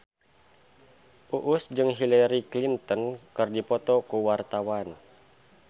Uus jeung Hillary Clinton keur dipoto ku wartawan